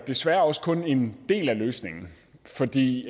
desværre også kun er en del af løsningen fordi